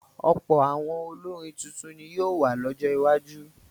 Ọ̀pọ̀ àwọn olórin tuntun ni yóò wà lọ́jọ́ iwájú.